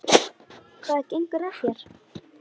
Hvað gengur að þér?